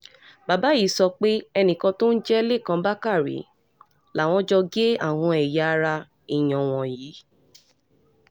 bàbá yìí sọ pé enìkan tó ń jẹ́ lẹ́kàn bàkàrẹ làwọn jọ gé àwọn ẹ̀yà ara èèyàn wọ̀nyí